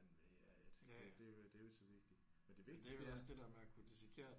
eller hvad fanden ved jeg ik. Det det det er jo ikke så vigtigt det vigtigste er